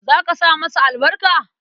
Za ka sa masa albarka?